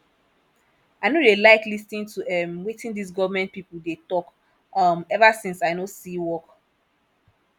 i no dey like lis ten to um wetin dis government people dey talk um ever since i no see work